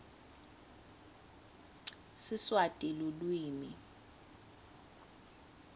siswati lulwimi